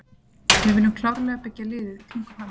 Við viljum klárlega byggja liðið í kringum hann.